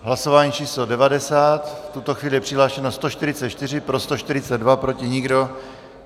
Hlasování číslo 90, v tuto chvíli je přihlášeno 144, pro 142, proti nikdo.